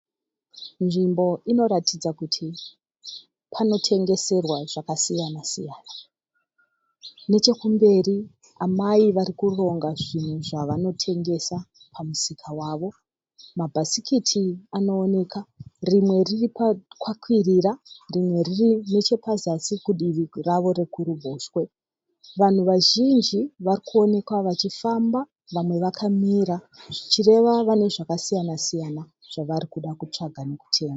Nzvimbo inoratidza kuti panotengeserwa zvakasiyana siyana, nechekumberi amai varikuronga zvinhu zvavanotengesa pamusika wavo, mabhasikiti anooneka rimwe riri pakakwirira rimwe riri nechapazasi kudivi ravo rekuruboshwe. Vanhu vazhinjj varikuoneka vachifamba vamwe vakamira zvichireva vane zvakasiyana siyana zvavarikuda kutsvaga nekutenga.